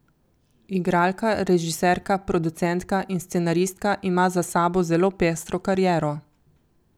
Igralka, režiserka, producentka in scenaristka ima za sabo zelo pestro kariero.